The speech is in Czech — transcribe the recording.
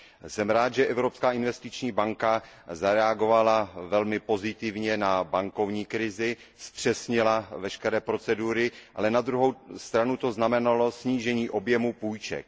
Jsem rád, že Evropská investiční banka zareagovala velmi pozitivně na bankovní krizi, zpřesnila veškeré procedury, ale na druhou stranu to znamenalo snížení objemu půjček.